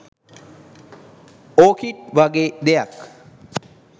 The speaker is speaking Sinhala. ඕකිඩ් වගේ දෙයක්